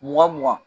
Mugan mugan